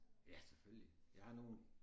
Ja selvfølgelig jeg har nogle